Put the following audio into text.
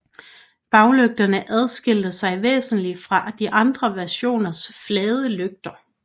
Baglygterne adskilte sig væsentligt fra de andre versioners flade lygter